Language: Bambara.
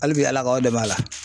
Hali bi Ala k'aw dɛmɛ a la.